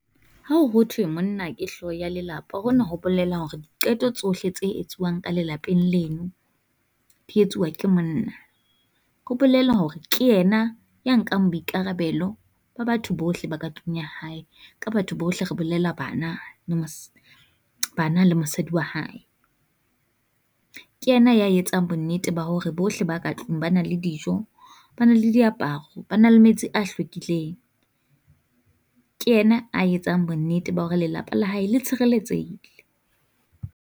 Ha ho thwe monna ke hlooho ya lelapa, hona ho bolela hore diqeto tsohle tse etsuwang ka lelapeng leno ke monna. Ho bolela hore ke ena ya nkang boikarabelo ba batho bohle ba ka tlung ya hae, ka batho bohle re bolela bana le bana le mosadi wa hae. Ke yena ya etsang bonnete ba hore bohle ba ka tlung ba na le dijo, ba na le diaparo, ba na le metsi a hlwekileng. Ke yena a etsang bonnete ba hore lelapa la hae le tshireletsehile.